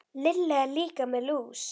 Lilla er líka með lús.